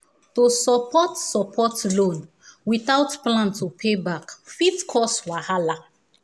to support support loan without plan to pay back fit cause wahala